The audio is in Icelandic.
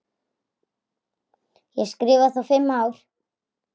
Ég skrifa þá fimm ár.